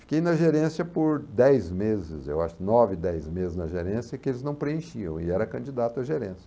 Fiquei na gerência por dez meses, eu acho nove, dez meses na gerência, que eles não preenchiam, e era candidato à gerência.